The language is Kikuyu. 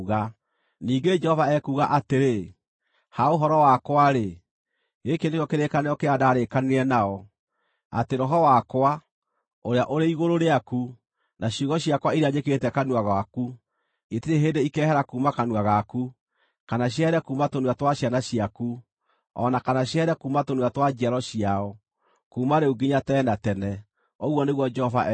Ningĩ Jehova ekuuga atĩrĩ, “Ha ũhoro wakwa-rĩ, gĩkĩ nĩkĩo kĩrĩkanĩro kĩrĩa ndarĩkanĩire nao, atĩ Roho wakwa, ũrĩa ũrĩ igũrũ rĩaku, na ciugo ciakwa iria njĩkĩrĩte kanua gaku, itirĩ hĩndĩ ikehera kuuma kanua gaku, kana ciehere kuuma tũnua twa ciana ciaku, o na kana ciehere kuuma tũnua twa njiaro ciao, kuuma rĩu nginya tene na tene,” ũguo nĩguo Jehova ekuuga.